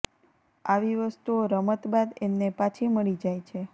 આવી વસ્તુઓ રમત બાદ એમને પાછી મળી જાય છે